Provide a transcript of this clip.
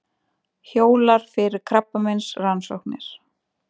Hjólar fyrir krabbameinsrannsóknir